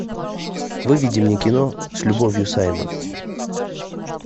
выведи мне кино с любовью саймон